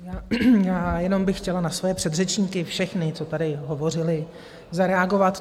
Já jenom bych chtěla na své předřečníky, všechny, co tady hovořili, zareagovat.